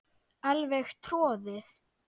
Alveg troðið.